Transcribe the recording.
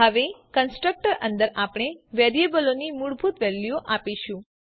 હવે કન્સ્ટ્રક્ટર અંદર આપણે વેરીયેબલોની મૂળભૂત વેલ્યુ આપીશું